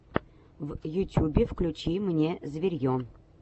в ютюбе включи мне зверье